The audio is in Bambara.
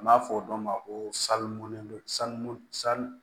An b'a fɔ o dɔ ma ko salundu sanu sa